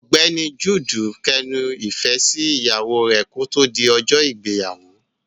Ọ̀gbẹ́ni Jude kẹnu ifẹ sí ìyàwó rẹ ki o to di ọjọ ìgbéyàwó.